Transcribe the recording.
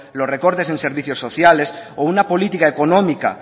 los recortes en servicios sociales o una política económica